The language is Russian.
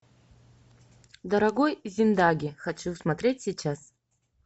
дорогой зиндаге хочу смотреть сейчас